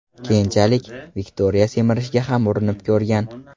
Keyinchalik, Viktoriya semirishga ham urinib ko‘rgan.